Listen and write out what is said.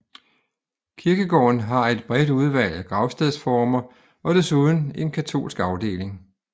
Kirkegården har et bredt udvalg af gravstedsformer og desuden en katolsk afdeling